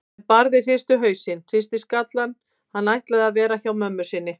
En Barði hristi hausinn, hristi skallann, hann ætlaði að vera hjá mömmu sinni.